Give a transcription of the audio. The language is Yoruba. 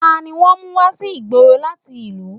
Tani wọ́n mú wá sí ìgboro láti ìlú?